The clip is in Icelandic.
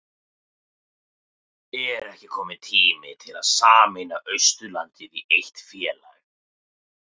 Er ekki kominn tími til að sameina Austurlandið í eitt félag?